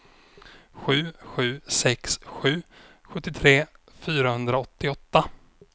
sju sju sex sju sjuttiotre fyrahundraåttioåtta